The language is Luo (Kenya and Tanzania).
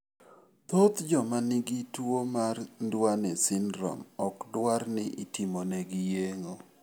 Thoth joma nigi tuwo mar Duane syndrome ok dwar ni otimnegi yeng'o.